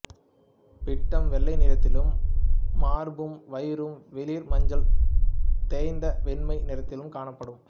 பிட்டம் வெள்ளை நிறத்திலும் மார்பும் வயிறும் வெளிர் மஞ்சள் தோய்ந்த வெண்மை நிறத்திலும் காணப்படும்